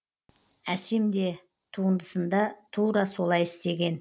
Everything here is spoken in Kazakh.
әсем де туындысында тура солай істеген